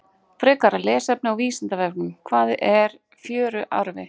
Frekara lesefni á Vísindavefnum: Hvað er fjöruarfi?